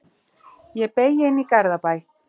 Ég beygi inn í Garðabæ.